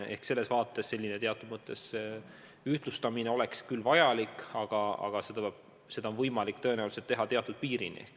Nii et teatud mõttes ühtlustamine oleks küll vajalik, aga seda on võimalik tõenäoliselt teha teatud piirini.